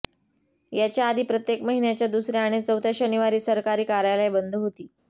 याच्याआधी प्रत्येक महिन्याच्या दुसऱ्या आणि चौथ्या शनिवारी सरकारी कार्यालय बंद होती